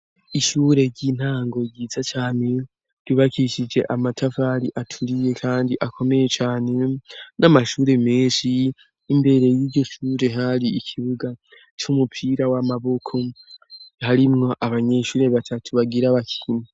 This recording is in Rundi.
Ishure ry'intango ryiza came ryubakishije amatavari aturiye, kandi akomeye cane n'amashure menshi imbere y'igisure hari ikibuga c'umupira w'amaboko harimwo abanyeshure batatu bagira bakini.